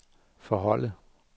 forholde